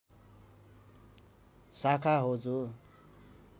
शाखा हो जो